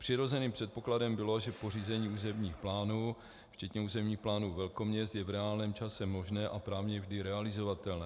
Přirozeným předpokladem bylo, že pořízení územních plánů včetně územních plánů velkoměst je v reálném čase možné a právně vždy realizovatelné.